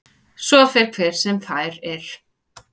Svo fer hver sem fær er.